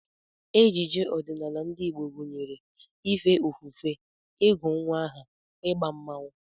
Ejije ọdịnala ndị Igbo gụnyere ife ofufe, ịgụ nnwa aha, ịgba mmọnwụ